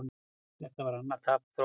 Þetta var annað tap Þróttara í sumar.